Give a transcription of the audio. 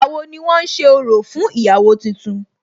Ìgbà wo ni wón ṣe orò fún ìyàwó tuntun?